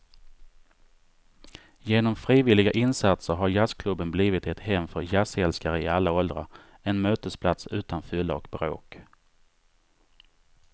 Genom frivilliga insatser har jazzklubben blivit ett hem för jazzälskare i alla åldrar, en mötesplats utan fylla och bråk.